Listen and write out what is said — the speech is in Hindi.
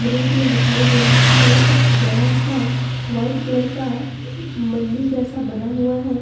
दृश्य में दिखाई दे रहा है एक बड़ा सा व्हाइट कलर का मंदिर जैसा बना हुआ है।